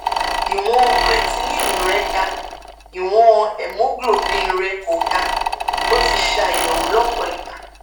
ìwọn creatinine rẹ ga ìwọn hemoglobin rẹ kò ga ó ti ṣe àyẹwò lọpọ ìgbà